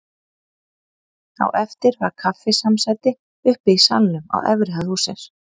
Á eftir var kaffisamsæti uppi í salnum á efri hæð hússins.